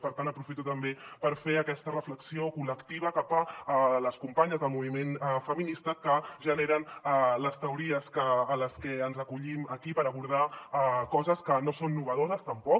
per tant aprofito també per fer aquesta reflexió col·lectiva cap a les companyes del moviment feminista que generen les teories a les que ens acollim aquí per abordar coses que no són noves tampoc